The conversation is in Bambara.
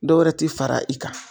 Dɔ wɛrɛ te fara i kan